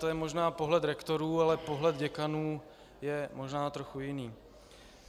To je možná pohled rektorů, ale pohled děkanů je možná trochu jiný.